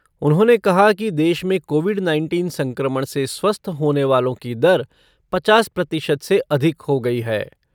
उन्होंने कहा कि देश में कोविड नाइनटीन संक्रमण से स्वस्थ होने वालों की दर पचास प्रतिशत से अधिक हो गई।